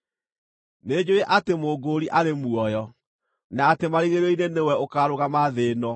Nĩnjũũĩ atĩ Mũngũũri arĩ muoyo, na atĩ marigĩrĩrio-inĩ nĩwe ũkaarũgama thĩ ĩno.